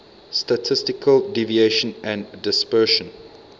statistical deviation and dispersion